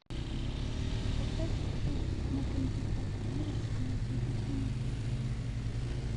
поставь обдув на кондиционере на девять минут